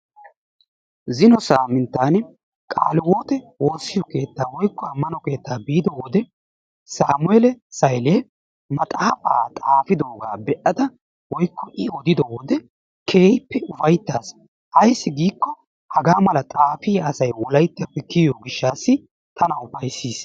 Zino saaninttan qaalihiwote woossiyo keettaa woykko ammano keettaa biiddo wode Saamele Saylee maxaafaa xaafiddoogaa be'ada woykko I odiddo wode keehippe ufaytaas. Ayssi giikko haggaa mala xaafiya asay wolayttappe kiyiyoo gishshatassi tana ufayssiis.